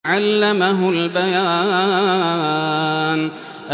عَلَّمَهُ الْبَيَانَ